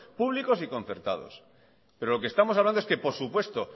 públicos y concertados pero lo que estamos hablando es que por supuesto